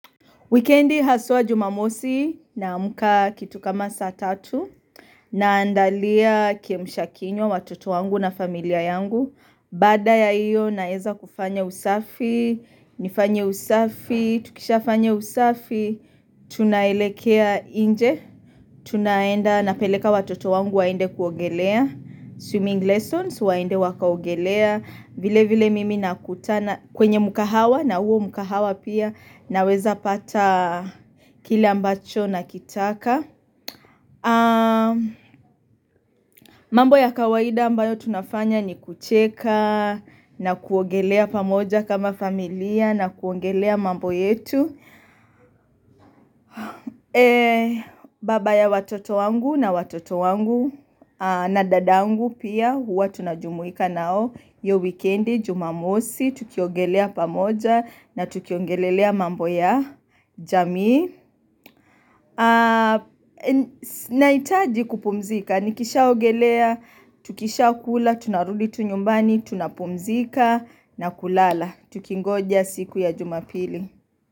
Wikendi haswa jumamosi naamka kitu kama saa tatu, naandalia kiamshakinywa watoto wangu na familia yangu. Baada ya hiyo naweza kufanya usafi, nifanye usafi, tukishafanya usafi, tunaelekea nje, tunaenda napeleka watoto wangu waende kuogelea. Swimming lessons waende wakaogelea. Vile vile mimi nakutana, kwenye mkahawa na huo mkahawa pia naweza pata kile ambacho nakitaka mambo ya kawaida ambayo tunafanya ni kucheka na kuogelea pamoja kama familia na kuongelea mambo yetu Baba ya watoto wangu na watoto wangu na dadangu pia huwa tunajumuika nao hiyo wikendi jumamosi, tukiogelea pamoja na tukiongelelea mambo ya jamii Nahitaji kupumzika, nikishaogelea, tukishakula, tunarudi tu nyumbani, tunapumzika na kulala tukingoja siku ya jumapili.